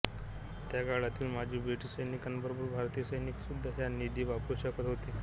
त्या काळातील माजी ब्रिटिश सैनिकांबरोबरच भारतीय सैनिकसुद्धा हा निधी वापरू शकत होते